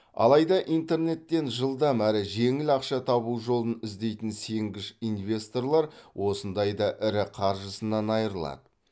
алайда интернеттен жылдам әрі жеңіл ақша табу жолын іздейтін сенгіш инвесторлар осындайда ірі қаржысынан айырылады